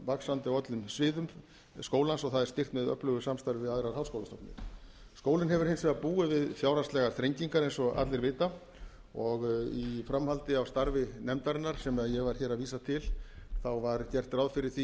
vaxandi á öllum sviðum skólans og það er styrkt með öflugu samstarfi við aðrar háskólastofnanir skólinn hefur hins vegar búið við fjárhagslegar þrengingar eins og allir vita og í framhaldi af starfi nefndarinnar sem ég var hér að vísa til var gert ráð fyrir því